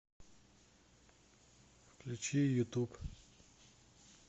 включи ютуб